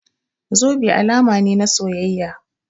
Zobe alama ne na soyayya.